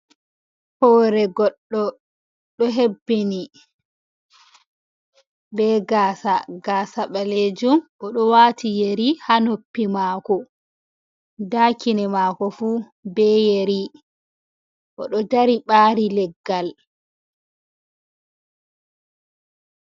Hoore goɗdo, do hebbini be gaasa, gaasa baleejum o do waati yeri ha noppi maako da kine maako fu be yeri odo dari ɓari leggal.